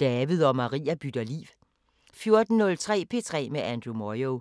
David og Maria bytter liv 14:03: P3 med Andrew Moyo